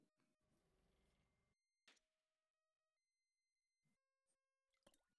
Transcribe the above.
Maalgelinta mushaharka macalinku waxay wanaajin kartaa heerka sii hayn.